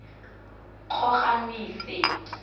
kgogamasigo